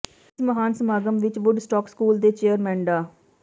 ਇਸ ਮਹਾਨ ਸਮਾਗਮ ਵਿੱਚ ਵੁੱਡ ਸਟਾਕ ਸਕੂਲ ਦੇ ਚੇਅਰਮੈਨ ਡਾ